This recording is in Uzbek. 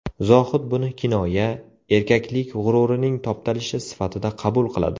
Zohid buni kinoya, erkaklik g‘ururining toptalishi sifatida qabul qiladi.